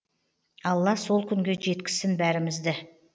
алла сол күнге жеткізсін бәрімізді